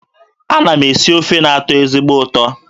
Ana m esi ofe na-atọ ezigbo ụtọ